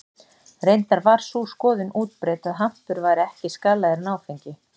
Reyndar var sú skoðun útbreidd að hampur væri ekki skaðlegri en áfengi.